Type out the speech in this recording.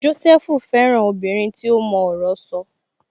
Jósẹ́fù fẹ́ràn obìnrin tí ó mọ ọ̀rọ̀ sọ